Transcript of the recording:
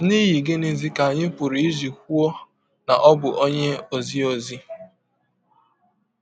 N’ihi gịnịzi ka anyị pụrụ iji kwụọ na ọ bụ ọnye ọzi ọzi?